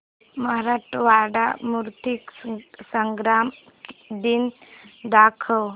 मराठवाडा मुक्तीसंग्राम दिन दाखव